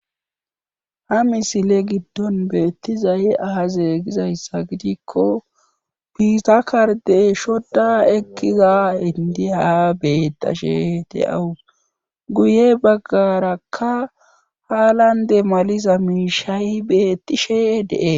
Ha misile giddon beettizaye azee gizayssa gidikko piisakarde shoda ekkiza hindiha bettashe te awus guye baggarakka haalande maliza miishayi betti sheee de7e.